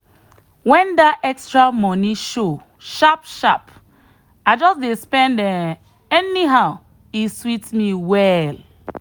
when that extra money show sharp sharp i just dey spend um anyhow e sweet me well.